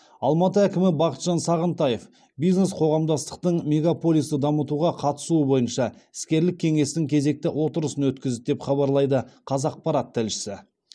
алматы әкімі бақытжан сағынтаев бизнес қоғамдастықтың мегаполисті дамытуға қатысуы бойынша іскерлік кеңестің кезекті отырысын өткізді деп хабарлайды қазақпарат тілшісі